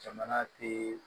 Jamana teee